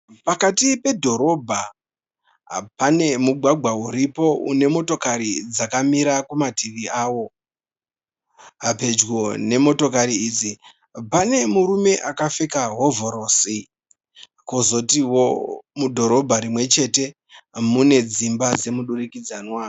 Pakati pedhorobha, pane mugwagwa uripo une motokari dzakamira kumativi awo. Pedyo nemotokari idzi pane murume akapfeka hovhorosi kozotiwo mudhorobha rimwe chete mune dzimba dzemudurikidzanwa.